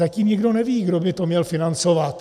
Zatím nikdo neví, kdo by to měl financovat.